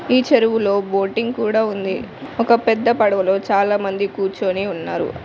ఈ చెరువులో బోటింగ్ కూడా ఉంది ఒక పెద్ద పడవలో చాలామంది కూర్చొని ఉన్నారు.